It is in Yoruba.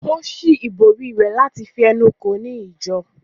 Ó ṣí ìbòrí rẹ̀ láti fi ẹnu kò ó ní ìjọ